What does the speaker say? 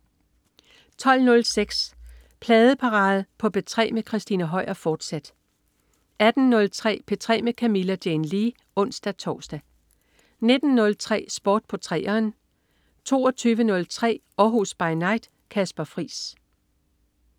12.06 Pladeparade på P3 med Christina Høier, fortsat 18.03 P3 med Camilla Jane Lea (ons-tors) 19.03 Sport på 3'eren 22.03 Århus By Night. Kasper Friis